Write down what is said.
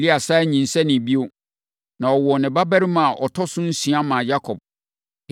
Lea sane nyinsɛnee bio, na ɔwoo ne babarima a ɔtɔ so nsia maa Yakob.